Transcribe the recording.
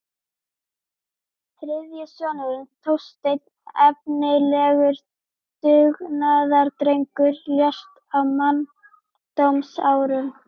Þriðji sonurinn, Þorsteinn, efnilegur dugnaðardrengur, lést á manndómsárunum.